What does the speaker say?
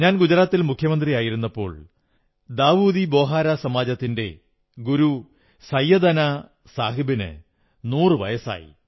ഞാൻ ഗുജറാത്തിൽ മുഖ്യമന്ത്രിയായിരുന്നപ്പോൾ ദാഊദി ബോഹരാ സമാജത്തിന്റെ ഗുരു സൈയദനാ സാഹബിന് നൂറൂ വയസ്സായി